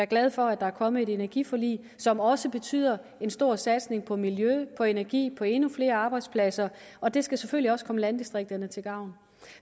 glade for at der er kommet et energiforlig som også betyder en stor satsning på miljø på energi på endnu flere arbejdspladser og det skal selvfølgelig også komme landdistrikterne til gavn